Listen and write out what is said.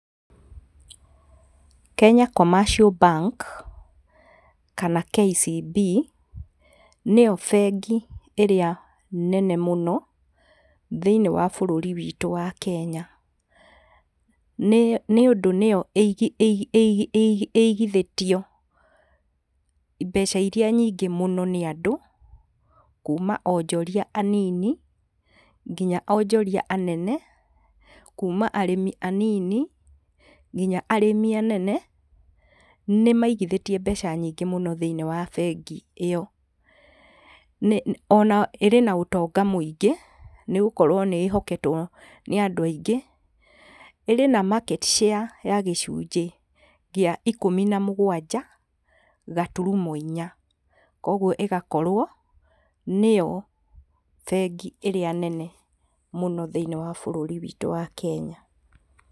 Kenya commercial bank kana KCB nĩyo bengi ĩrĩa nene mũno thĩinĩ wa bũrũri witũ wa Kenya, nĩ nĩ ũndũ nĩyo ĩigi ĩigi ĩigi ĩigi ĩigithĩtio mbeca iria nyingĩ mũno nĩ andũ, kũũma onjoria anini nginya onjoria anene, kũũma arĩmi anini nginya arĩmi anene, nĩmaigithĩtie mbeca nyingĩ mũno thĩinĩ wa bengi ĩyo. Nĩ ona iri na ũtonga mũingĩ nĩgũkorwo nĩĩhoketwo nĩ andũ aingĩ. Irĩ na market share ya gĩcunjĩ kĩa ikũmi na mũgwanja gaturuma inya, kwoguo ĩgakorwo nĩyo bengĩ ĩrĩa nene mũno thĩinĩ wa bũrũri witũ wa Kenya.